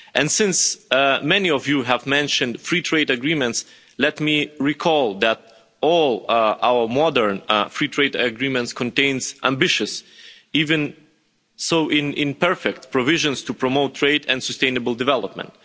Since many of you have mentioned free trade agreements, let me recall that all our modern free trade agreements contain ambitious, even if imperfect, provisions to promote trade and sustainable development.